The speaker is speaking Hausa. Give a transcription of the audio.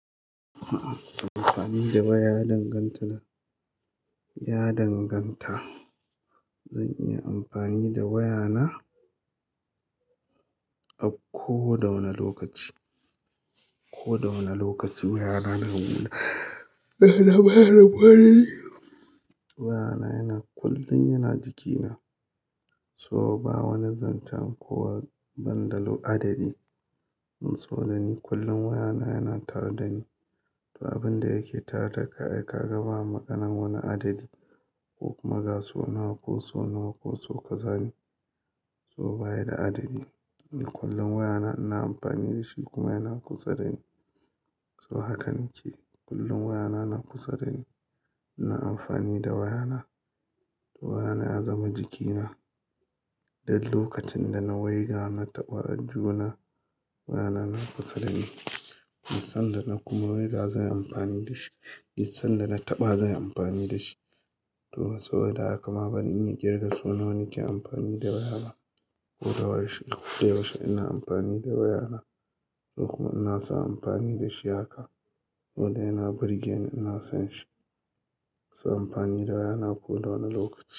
Amfani da waya ya danganta da, ya danganta. Zan iya amfani da waya na a ko da wane lokaci, ko da wane lokaci. Waya na waya na baya rabuwa dani wayana yana kullum yana jikina so ba wani zancen ko banda lo adadi. In so da ni kullum waya na yana tare dani. To abinda yake tare da kai, ka ga ba maganan wani adadi ko kuma ga so nawa ko so nawa ko ka zane. So baya da adadi. Ni kullum waya na ina amfani da shi kuma yana kusa dani. So hakan yake, kullum waya na, yana kusa dani. Ina amfani da waya na. Waya na ya zama jikina. Dan lokacin da na waiga na taɓa aljuhuna wayana, na kusa dani. San da na kuma waiga zanyi amfani da shi, sanda na taɓa zanyi amfani da shi. To saboda haka ma baran iya ƙirga so nawa nake amfani da waya ba ko da yaushe, koda yaushe ina amfani da waya na. Ko kuma inasa amfani da shi haka. Wanda yana burge ni ina son shi. Zan amfani da waya na ko da wane lokaci.